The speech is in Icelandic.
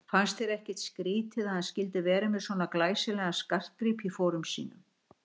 Fannst þér ekkert skrýtið að hann skyldi vera með svona glæsilegan skartgrip í fórum sínum?